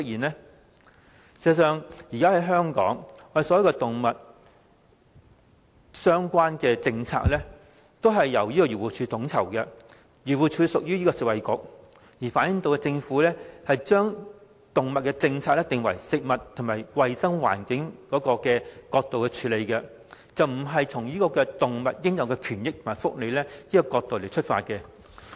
事實上，現時香港所有與動物相關的政策，都由漁護署統籌，漁護署隸屬食物及衞生局，反映政府的動物政策僅從"食物"及"衞生環境"角度出發，而不是從動物應有權益及福利的角度着眼。